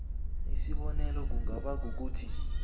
isibonelo kungaba kukuthi